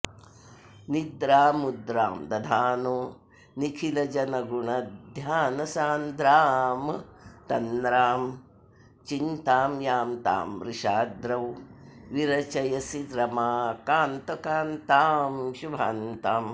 निद्रामुद्रां दधानो निखिलजनगुणध्यानसान्द्रामतन्द्रां चिन्तां यां तां वृषाद्रौ विरचयसि रमाकान्त कान्तां शुभान्ताम्